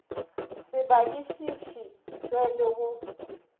se badišiši tšwe le go